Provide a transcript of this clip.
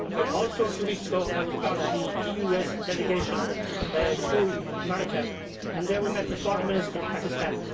Also, a few weeks ago, I was part of the EU US delegation to America and there we met the Foreign Minister of Pakistan.